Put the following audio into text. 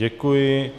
Děkuji.